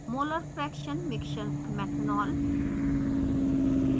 molar fraction mixture/methanol